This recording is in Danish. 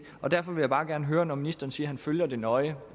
og derfor vil jeg bare gerne høre når ministeren siger han følger det nøje